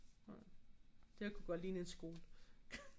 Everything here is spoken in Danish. Det kunne godt ligne en skole